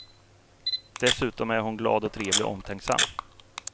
Dessutom är hon glad och trevlig och omtänksam.